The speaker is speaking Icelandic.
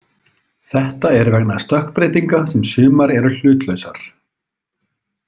Þetta er vegna stökkbreytinga sem sumar eru hlutlausar.